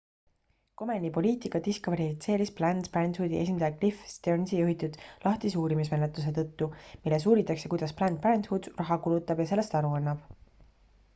komeni poliitika diskvalifitseeris planned parenthoodi esindaja cliff stearnsi juhitud lahtise uurimismenetluse tõttu milles uuritakse kuidas planned parenthood raha kulutab ja sellest aru annab